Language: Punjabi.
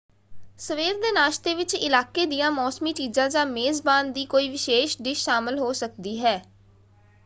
ਸਵੇਰ ਦੇ ਨਾਸ਼ਤੇ ਵਿੱਚ ਇਲਾਕੇ ਦੀਆਂ ਮੌਸਮੀ ਚੀਜਾਂ ਜਾਂ ਮੇਜ਼ਬਾਨ ਦੀ ਕੋਈ ਵਿਸ਼ੇਸ਼ ਡਿਸ਼ ਸ਼ਾਮਲ ਹੋ ਸਕਦੀ ਹੈ।